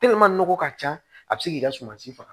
nɔgɔ ka ca a bɛ se k'i ka suma si faga